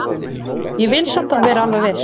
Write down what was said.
Ég vil samt vera alveg viss.